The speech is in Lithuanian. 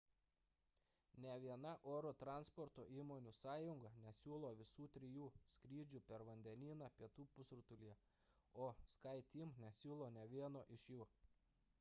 nė viena oro transporto įmonių sąjunga nesiūlo visų trijų skrydžių per vandenyną pietų pusrutulyje o skyteam nesiūlo nė vieno iš jų